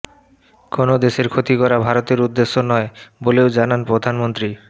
কোনও দেশের ক্ষতি করা ভারতের উদ্দেশ্য নয় বলেও জানান প্রধানমন্ত্রী